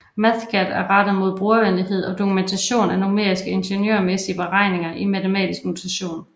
Mathcad er rettet mod brugervenlighed og dokumentation af numeriske ingeniørmæssige beregninger i matematisk notation